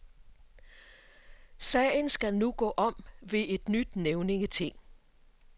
Sagen skal nu gå om ved et nyt nævningeting.